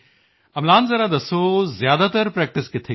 ਅਮਲਾਨ ਜ਼ਰਾ ਦੱਸੋ ਜ਼ਿਆਦਾਤਰ ਪ੍ਰੈਕਟਿਸ ਕਿੱਥੇ ਕੀਤੀ